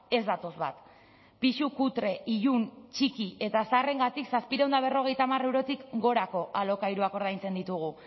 ez datoz bat pisu kutre ilun txiki eta zaharrengatik zazpiehun eta berrogeita hamar eurotik gorako alokairuak ordaintzen ditugu